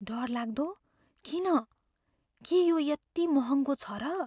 डरलाग्दो? किन? के यो यति महङ्गो छ र?